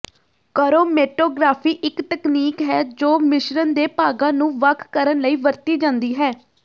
chromatography ਇੱਕ ਤਕਨੀਕ ਹੈ ਜੋ ਮਿਸ਼ਰਣ ਦੇ ਭਾਗਾਂ ਨੂੰ ਵੱਖ ਕਰਨ ਲਈ ਵਰਤੀ ਜਾਂਦੀ ਹੈ